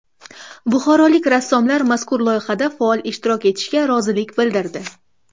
Buxorolik rassomlar mazkur loyihada faol ishtirok etishga rozilik bildirdi.